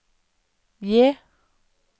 J